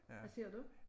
Hvad ser du?